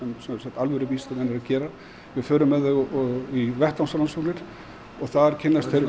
alvöru vísindamenn eru að gera við förum með þau í vettvangsrannsóknir og þar kynnast þau